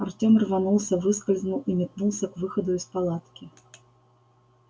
артём рванулся выскользнул и метнулся к выходу из палатки